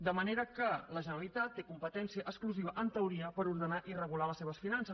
de manera que la generalitat té competència exclusiva en teoria per ordenar i regular les seves finances